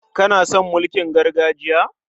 Kana son mulkin gargajiya?